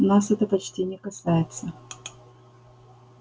нас это почти не касается